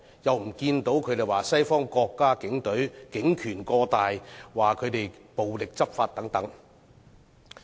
為何他們不指責西方國家警隊警權過大、暴力執法等呢？